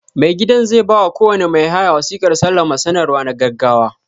Mai gidan zai ba wa kowane mai haya wasiƙar salama sanarwa na gaggawa.